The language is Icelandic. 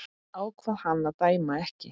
Ákvað hann að dæma ekki?